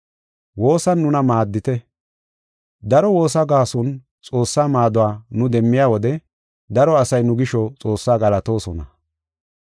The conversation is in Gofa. Woosan nuna maaddite. Daro woosa gaason Xoossaa maaduwa nu demmiya wode daro asay nu gisho Xoossaa galatoosona.